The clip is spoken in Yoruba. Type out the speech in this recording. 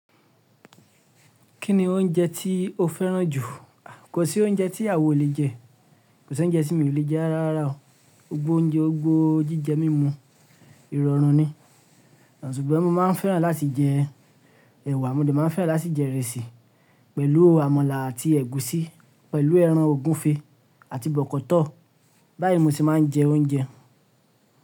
Kí ni oúnjẹ tí o fẹ́ràn jù? Kò sí oúnjẹ tí awa o lè jẹ, kò sí oúnjẹ tí mi ò lè jẹ́ rárá rara o. Gbogbo oúnjẹ, gbogbo jíjẹ mímú, ìrọ̀rùn ni. Ṣùgbọ́n mo máa ń fẹ́ràn láti jẹ ẹ̀wà, mo dè máa ń fẹ́ràn láti jẹ ìrẹsì pẹ̀lú àmàlà àti ẹ̀gúsí pẹ̀lú ẹran ògúnfe àti bọ̀kọ́tọ̀. Bá yí mo se máa ń jẹ oúnjẹ.